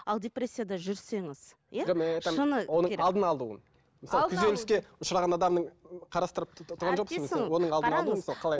ал депрессияда жүрсеңіз оның алдын алуын күйзеліске ұшыраған адамның қарастырып